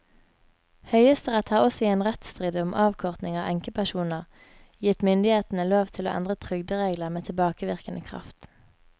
Høyesterett har også i en rettsstrid om avkorting av enkepensjoner gitt myndighetene lov til å endre trygderegler med tilbakevirkende kraft.